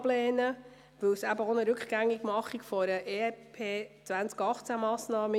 Denn auch dieser wäre ein Rückgängigmachen einer EP-2018Massnahme.